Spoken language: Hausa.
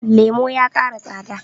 lemo ya ƙara tsada